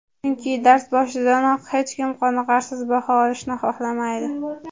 chunki dars boshidanoq hech kim qoniqarsiz baho olishni xohlamaydi.